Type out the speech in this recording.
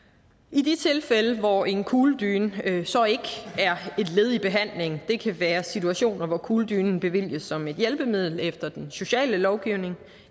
i de tilfælde hvor en kugledyne så ikke er et led i behandlingen det kan være situationer hvor kugledynen bevilges som et hjælpemiddel efter den sociale lovgivning